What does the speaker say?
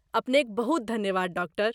अपनेक बहुत धन्यवाद, डॉक्टर।